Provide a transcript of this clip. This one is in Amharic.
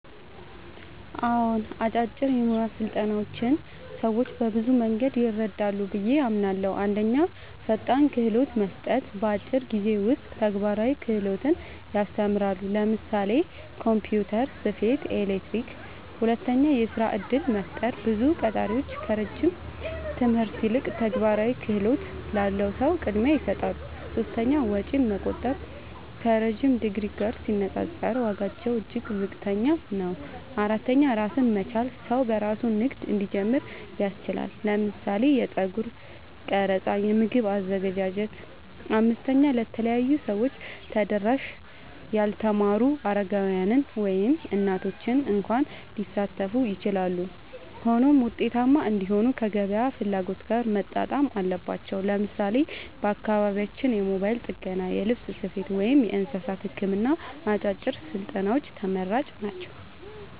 አዎን፣ አጫጭር የሙያ ስልጠናዎች ሰዎችን በብዙ መንገድ ይረዳሉ ብዬ አምናለሁ፦ 1. ፈጣን ክህሎት መስጠት – በአጭር ጊዜ ውስጥ ተግባራዊ ክህሎት ያስተምራሉ (ለምሳሌ ኮምፒውተር፣ ስፌት፣ ኤሌክትሪክ)። 2. የሥራ እድል መፍጠር – ብዙ ቀጣሪዎች ከረጅም ትምህርት ይልቅ ተግባራዊ ክህሎት ላለው ሰው ቅድሚያ ይሰጣሉ። 3. ወጪ መቆጠብ – ከረዥም ዲግሪ ጋር ሲነጻጸር ዋጋቸው እጅግ ዝቅተኛ ነው። 4. ራስን መቻል – ሰው በራሱ ንግድ እንዲጀምር ያስችላል (ለምሳሌ የጸጉር ቀረጻ፣ የምግብ አዘገጃጀት)። 5. ለተለያዩ ሰዎች ተደራሽ – ያልተማሩ፣ አረጋውያን፣ ወይም እናቶች እንኳ ሊሳተፉ ይችላሉ። ሆኖም ውጤታማ እንዲሆኑ ከገበያ ፍላጎት ጋር መጣጣም አለባቸው። ለምሳሌ በአካባቢያችን የሞባይል ጥገና፣ የልብስ ስፌት፣ ወይም የእንስሳት ሕክምና አጫጭር ስልጠናዎች ተመራጭ ናቸው።